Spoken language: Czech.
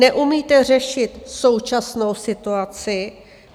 Neumíte řešit současnou situaci.